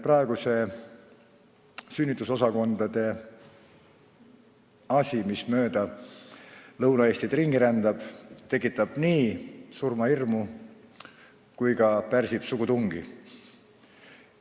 Praegune sünnitusosakondi puudutav mure, mis mööda Lõuna-Eestit ringi rändab, tekitab nii surmahirmu kui ka pärsib sugutungi.